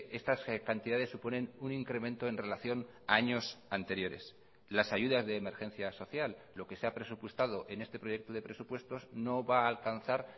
estas cantidades suponen un incremento en relación a años anteriores las ayudas de emergencia social lo que se ha presupuestado en este proyecto de presupuestos no va a alcanzar